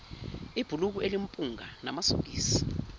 ibhulukwe elimpunga namasokisi